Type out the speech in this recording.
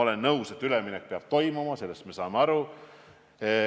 Olen nõus, et üleminek peab toimuma, sellest me saame aru.